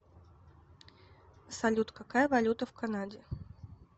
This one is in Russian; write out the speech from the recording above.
салют какая валюта в канаде